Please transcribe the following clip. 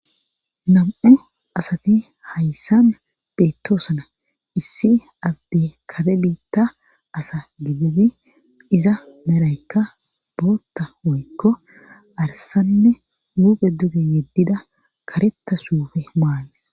nam7o asati hayssan beettoosana issi adde kare biitta asa gididi iza meraykka bootta woykko arsanne huuphe duge yeddida karetta suufe maayes